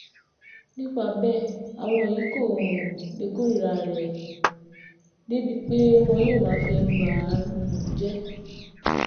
nípa bẹ́ẹ̀ àwọn yìí kò um lè kórìíra rẹ̀ débìí pé wọn yóò máa fi ẹnu bà um á jẹ́